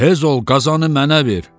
Tez ol qazanı mənə ver.